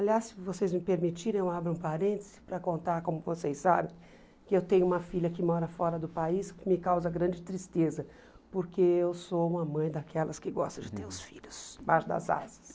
Aliás, se vocês me permitirem, eu abro um parênteses para contar, como vocês sabem, que eu tenho uma filha que mora fora do país, que me causa grande tristeza, porque eu sou uma mãe daquelas que gostam de ter os filhos embaixo das asas.